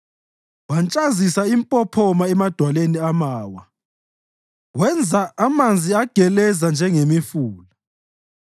wantshazisa impophoma emadwaleni amawa wenza amanzi ageleza njengemifula.